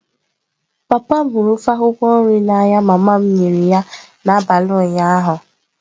Papa m hụrụ ofe akwukwo nrị a n'anya mama m nyere ya n'abalị ụnyaahụ.